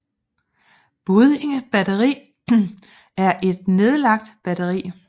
Buddinge Batteri er et nedlagt batteri